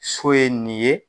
So ye nin ye.